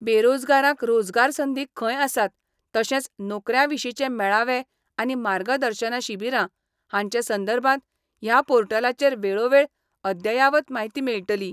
बेरोजगारांक रोजगार संधी खंय आसात तशेंच नोकऱ्यां विशीचे मेळावे आनी मार्गदर्शन शिबीरां हाचे संदर्भात ह्या पोर्टलाचेर वेळोवेळ अद्ययावत म्हायती मेळटली.